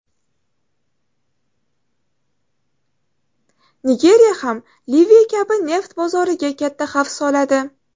Nigeriya ham Liviya kabi neft bozoriga katta xavf soladi.